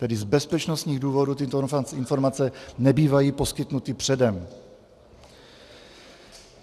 Tedy z bezpečnostních důvodů tyto informace nebývají poskytnuty předem.